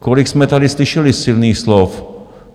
Kolik jsme tady slyšeli silných slov?